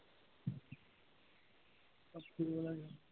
স্কুলত